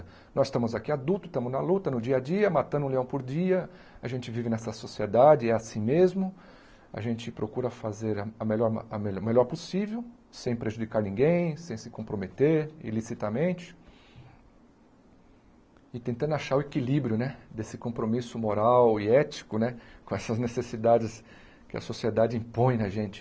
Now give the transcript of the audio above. Nós estamos aqui adultos, estamos na luta no dia a dia, matando um leão por dia, a gente vive nessa sociedade, é assim mesmo, a gente procura fazer a a melhor o melhor possível, sem prejudicar ninguém, sem se comprometer ilicitamente, e tentando achar o equilíbrio né desse compromisso moral e ético né, com essas necessidades que a sociedade impõe na gente.